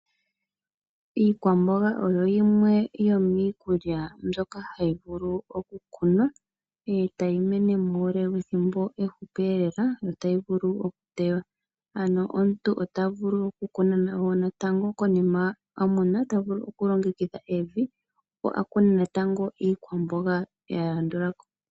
Iikwamboga oyo yimwe yomiikulya mbyoka hayi vulu okukunwa etayi mene muule wethimbo ehupi lela notayi vulu okutewa. Ano omuntu ota vulu okukuna wo natango konima a mona, ota vulu okulongekidha evi opo a kune natango iikwamboga ya landula ko.